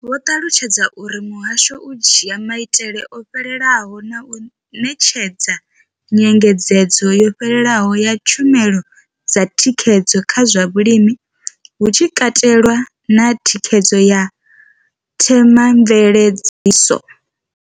Vho ṱalutshedza uri muhasho u dzhia maitele o fhelelaho na u ṋetshedza nyengedzedzo yo fhelelaho ya tshumelo dza thikhedzo kha zwa vhulimi, hu tshi katelwa na thikhedzo ya themamveledziso.